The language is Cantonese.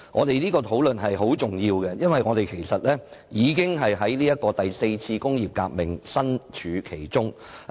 是次討論非常重要，因為我們已置身於"第四次工業革命"之中。